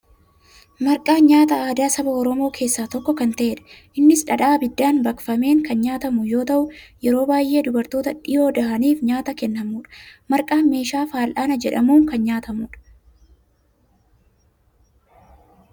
Marqaan nyaata aadaa saba Oromoo keessaa tokko kan ta'edha. Innis dhadhaa abiddaan baqfameen kan nyaatamu yoo ta'u, yeroo baay'ee dubartoota dhiyoo dahaniif nyaata kennamudha. Marqaan meeshaa fal'aana jedhamuun kan nyaatamudha.